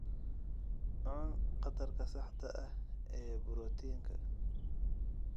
Cun qadarka saxda ah ee borotiinka.